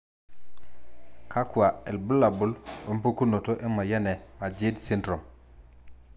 kakwa ilbulabul opukunoto emoyian e Majeed sydrome?